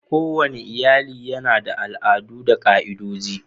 Kowane iyali yana da al'adu da ka'idoji.